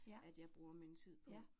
Ja. Ja